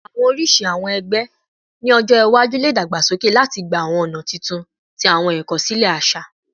Awọn oriṣi awọn ẹgbẹ ni ọjọ iwaju le dagbasoke lati gba awọn ọna tuntun ti awọn ikosile aṣa